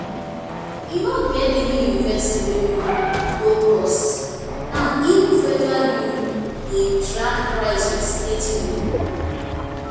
e no get any university wey no no cost now even federal uni dey drag price with state uni